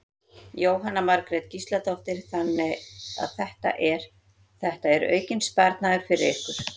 Jóhanna Margrét Gísladóttir: Þannig að þetta er, þetta er aukinn sparnaður fyrir ykkur?